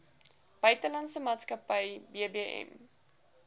buitelandse maatskappy bbm